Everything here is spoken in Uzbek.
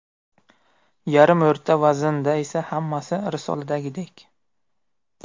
Yarim o‘rta vaznda esa hammasi risoladagidek.